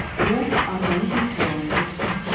Bu orqanizm sağlamlığı üçün yaxşıdır.